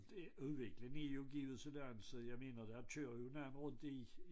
Og det udviklingen er jo givet sådan så jeg mener der kører jo en anden rundt i